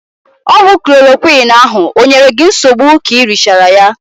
Ọgwụ klorokwiin ahụ o nyere gị nsogbu k'i richaara ya?